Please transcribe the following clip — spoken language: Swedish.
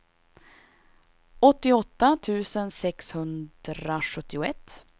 åttioåtta tusen sexhundrasjuttioett